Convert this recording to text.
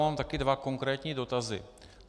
Mám taky dva konkrétní dotazy.